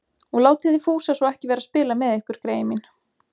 Og látið þið Fúsa svo ekki vera að spila með ykkur, greyin mín